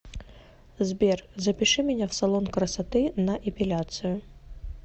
сбер запиши меня в салон красоты на эпиляцию